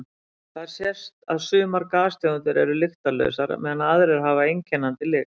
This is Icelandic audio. Þar sést að sumar gastegundir eru lyktarlausar meðan aðrar hafa einkennandi lykt.